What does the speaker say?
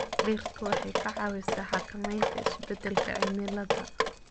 Dhirtu waxay ka caawisaa xakamaynta isbedelka cimilada.